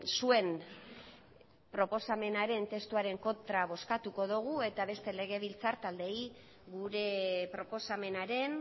zuen proposamenaren testuaren kontra bozkatuko dugu eta beste legebiltzar taldeei gure proposamenaren